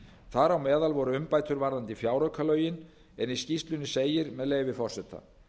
þar á meðal voru umbætur varðandi fjáraukalögin en í skýrslunni segir með leyfi forseta